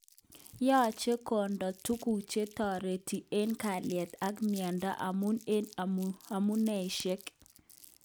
Yoche konde tuguk chetoreti eng kalyet ak mieindo amun eng amuneishek.